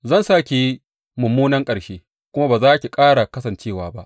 Zan sa ki yi mummunan ƙarshe kuma ba za ki ƙara kasancewa ba.